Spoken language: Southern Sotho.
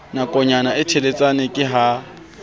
nakonyana e teletsana ke ha